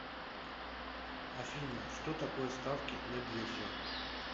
афина что такое ставки на бирже